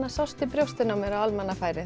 sást í brjóstin á mér á almannafæri